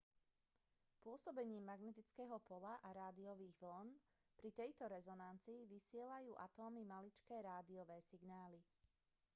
pôsobením magnetického poľa a rádiových vĺn pri tejto rezonancii vysielajú atómy maličké rádiové signály